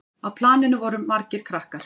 Á planinu voru margir krakkar.